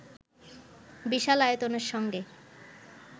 বিশাল আয়তনের সঙ্গে